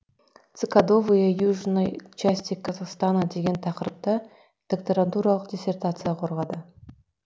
цикадовые южной части казахстана деген тақырыпта докторантуралық диссертация қорғады